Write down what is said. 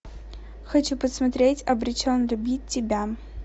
хочу посмотреть обречен любить тебя